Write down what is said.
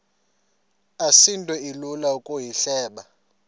asinto ilula ukuyihleba